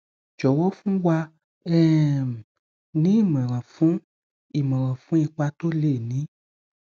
jọwọ fún wa um ní imọran fún imọran fún ipa toh lè ní